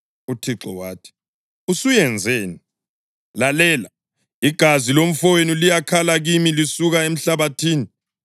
UThixo wathi, “Usuyenzeni? Lalela! Igazi lomfowenu liyakhala kimi lisuka emhlabathini.